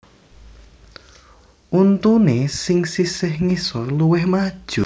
Untuné sing sisih ngisor luwih maju